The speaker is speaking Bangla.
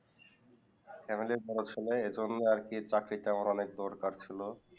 family বরো ছেলে এই জন্য আর কে চাকরি চাকরিটা আমার দরকার ছিল